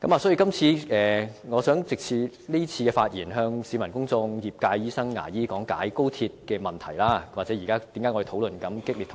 所以，我想藉今次發言，向市民公眾和業界的醫生、牙醫講解高鐵的問題：為何現時我們在激烈討論？